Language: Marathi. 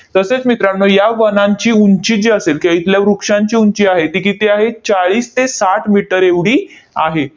तसेच मित्रांनो, या वनांची उंची जी असेल, किंवा इथल्या वृक्षांची उंची आहे, ती किती आहे? चाळीस ते साठ मीटर एवढी आहे.